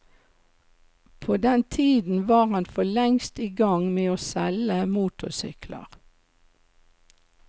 På den tiden var han for lengst i gang med å selge motorsykler.